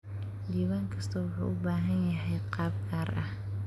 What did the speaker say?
Diiwaan kastaa wuxuu u baahan yahay qaab gaar ah.